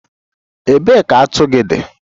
Ebee ka atu gị dị?